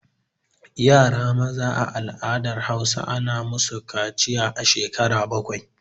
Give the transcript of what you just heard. Yara maza a al'adar Hausa ana musu kaciya a shekara bakwai